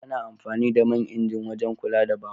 Ana amfani da man inji wajen kula da babur.